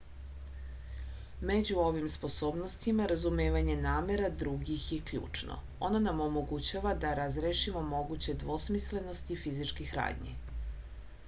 među ovim sposobnostima razumevanje namera drugih je ključno ono nam omogućava da razrešimo moguće dvosmislenosti fizičkih radnji